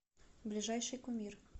ближайший кумир